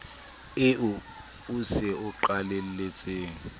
eo o se o qalelletse